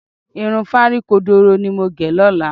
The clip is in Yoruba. Irun fárí kodoro ni màá gẹ̀ lọ́la